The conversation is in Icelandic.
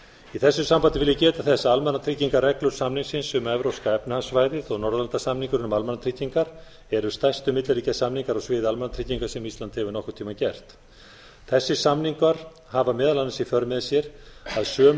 í þessu sambandi vil ég geta þess að almannatryggingareglur samningsins um evrópska efnahagssvæðið og norðurlandasamningurinn um almannatryggingar eru stærstu milliríkjasamningar á sviði almannatrygginga sem ísland hefur nokkurn tímann gert þessir samningar hafa meðal annars í för með sér að sömu